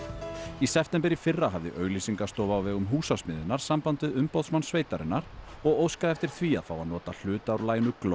í september í fyrra hafði auglýsingastofa á vegum Húsasmiðjunnar samband við umboðsmann sveitarinnar og óskaði eftir því að fá að nota hluta úr laginu